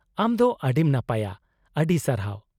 -ᱟᱢ ᱫᱚ ᱟᱹᱰᱤᱢ ᱱᱟᱯᱟᱭᱟ ! ᱟᱹᱰᱤ ᱥᱟᱨᱦᱟᱣ !